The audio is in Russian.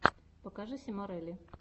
покажи симорелли